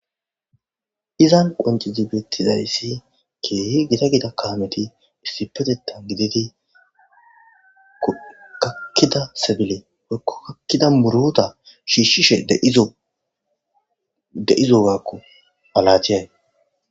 izan qonci zibettidayssi keehi gida gida kaameti issipetetan gididi kakkida sebile wokko kakkida murota shiishshishe deizo waakku alachee